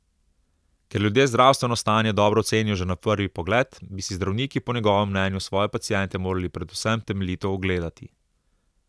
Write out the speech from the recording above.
Ker ljudje zdravstveno stanje dobro ocenijo že na prvi pogled, bi si zdravniki po njegovem mnenju svoje paciente morali predvsem temeljito ogledati.